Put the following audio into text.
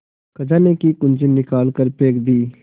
खजाने की कुन्जी निकाल कर फेंक दी